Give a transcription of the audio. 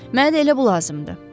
Mənə də elə bu lazımdır.